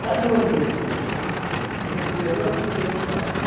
Para dormir, no comedor não podia entrar.